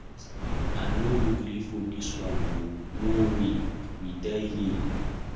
I no go gree for dis one oo. No way, we die here.